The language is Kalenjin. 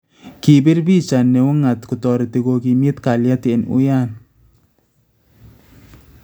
Kibiir picha neung�at kotoreti kokimiit kalyet en uya